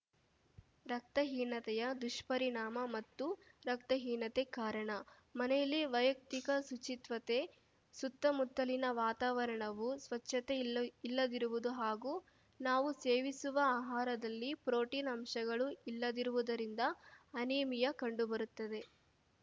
ರಕ್ತಹೀನತೆಯ ದುಷ್ಪರಿಣಾಮ ಮತ್ತು ರಕ್ತಹೀನತೆ ಕಾರಣ ಮನೆಯಲ್ಲಿ ವೈಯಕ್ತಿಕ ಶುಚಿತ್ವತೆ ಸುತ್ತಮುತ್ತಲಿನ ವಾತಾವರಣವು ಸ್ವಚ್ಛತೆ ಇಲ್ಲ ಇಲ್ಲದಿರುವುದು ಹಾಗೂ ನಾವು ಸೇವಿಸುವ ಆಹಾರದಲ್ಲಿ ಪ್ರೋಟೀನ್‌ ಅಂಶಗಳು ಇಲ್ಲದಿರುವುದರಿಂದ ಅನೀಮಿಯಾ ಕಂಡುಬರುತ್ತದೆ